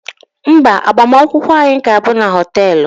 Mba, agbamakwụkwọ anyị ga-abụ na họteelụ